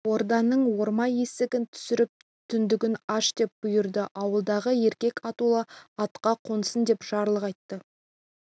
орданың орама есігін түсіріп түндігін аш деп бұйырды ауылдағы еркек атаулы атқа қонсын деп жарлық айтты